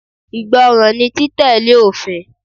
Ìgbọràn ni títẹ̀lé òfin.